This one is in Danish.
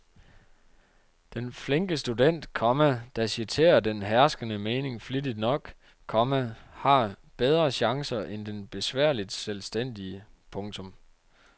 Den flinke student, komma der citerer den herskende mening flittigt nok, komma har bedre chancer end den besværligt selvstændige. punktum